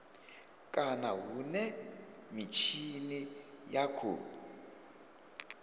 kana hune mitshini ya khou